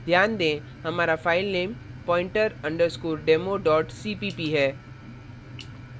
ध्यान दें हमारा file pointer underscore demo cpp है